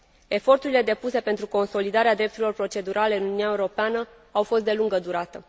Eforturile depuse pentru consolidarea drepturilor procedurale în Uniunea Europeană au fost de lungă durată.